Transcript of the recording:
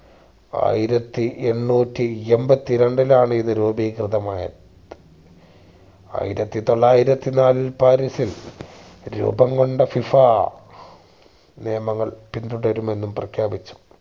ആയിരത്തി എണ്ണൂറ്റി എമ്പതി രണ്ടിലാണ് ഇത് രൂപീകൃതമായത് ആയിരത്തി തൊള്ളായിരത്തി നാലിൽ പാരീസിൽ രൂപംകൊണ്ട FIFA നിയമങ്ങൾ പിന്തുടരുമെന്നും പ്രഖ്യാപിച്ചു